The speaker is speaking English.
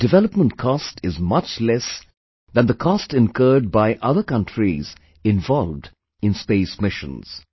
Its development cost is much less than the cost incurred by other countries involved in space missions